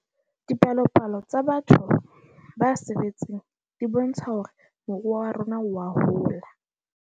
Dipalopalo tsa batho ba sebetseng di bontsha hore moruo wa rona wa hola.